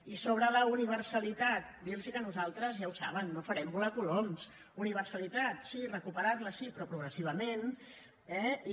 i sobre la universalitat dir los que nosaltres ja ho saben no farem volar coloms universalitat sí recuperar la sí però progressivament eh i